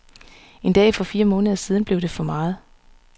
En dag for fire måneder siden blev det for meget.